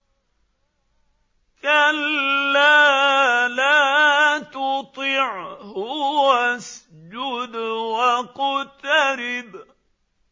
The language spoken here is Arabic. كَلَّا لَا تُطِعْهُ وَاسْجُدْ وَاقْتَرِب ۩